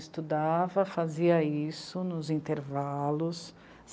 Estudava, fazia isso nos intervalos.